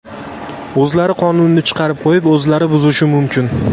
O‘zlari qonunni chiqarib qo‘yib, o‘zlari buzishi mumkin.